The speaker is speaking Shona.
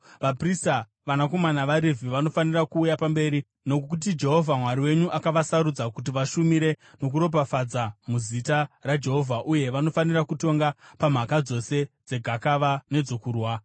Vaprista, vanakomana vaRevhi vanofanira kuuya pamberi, nokuti Jehovha Mwari wenyu akavasarudza kuti vashumire nokuropafadza muzita raJehovha uye vanofanira kutonga pamhaka dzose dzegakava nedzokurwa.